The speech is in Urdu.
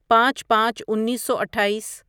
پانچ پانچ انیسو اٹھائیس